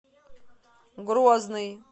грозный